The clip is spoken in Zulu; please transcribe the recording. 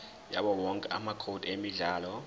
yawowonke amacode emidlalo